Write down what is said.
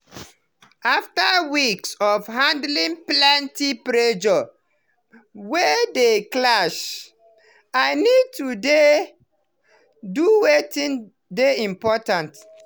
after weeks of handling plenty pressure wey dey clash i need to dey do weitin dey important.